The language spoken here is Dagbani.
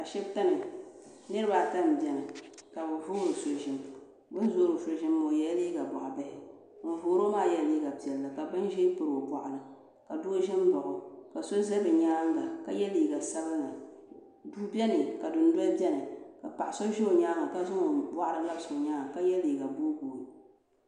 Ashibiti ni ka bi voori so zim bini voori so zim maa o ye la liiga bɔɣi bihi ŋuni voori o maa yela liiga piɛlli ka bini zɛɛ piri o bɔɣu ni ka doo zo nbaɣi o ka ye liiga sabinli duu bɛni ka dunoli bɛni ka paɣa so zi o yɛanga ka zaŋ o bɔɣiri n labisi o yɛanga ka ye liiga dini booi boo.